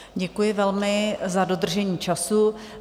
Děkuji velmi za dodržení času.